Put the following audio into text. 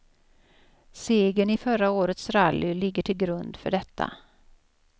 Segern i förra årets rally ligger till grund för detta.